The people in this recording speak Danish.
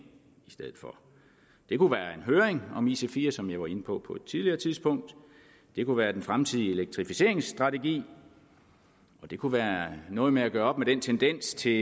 i stedet for det kunne være en høring om ic4 som jeg var inde på på tidligere tidspunkt det kunne være den fremtidige elektrificeringsstrategi det kunne være noget med at gøre op med den tendens til